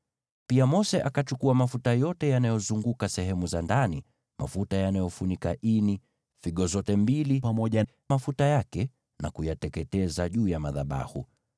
Pia Mose akachukua mafuta yote yanayozunguka sehemu za ndani, mafuta yanayofunika ini, figo zote mbili pamoja na mafuta yake, akayateketeza juu ya madhabahu.